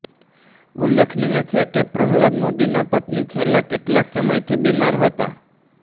ઉલ્લેખનીય છે કે પ્રહલાદ મોદીના પત્ની છેલ્લાં કેટલાય સમયથી બીમાર હતા